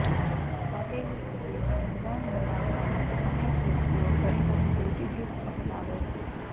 ફાટેલી એડિયોને મુલાયમ બનાવાવા માટે અનેક યુવતીઓ ઘણી બધી બ્યુટિ ટિપ્સ અપનાવે છે